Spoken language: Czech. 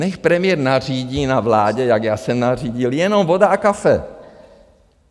Nechť premiér nařídí na vládě, jak já jsem nařídil, jenom voda a kafe.